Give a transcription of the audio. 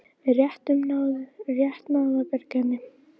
Við rétt náðum að bjarga henni